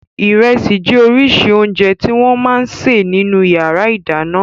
Ìrẹsì jẹ́ oríṣi oúnjẹ tí wọ́n máa ń sè nínú ìyàrá-ìdáná.